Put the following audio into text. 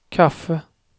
kaffe